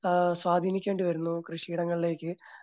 ആഹ് സ്വാധീനിക്കേണ്ടി വരുന്നു കൃഷിയിടങ്ങളിലേക്ക്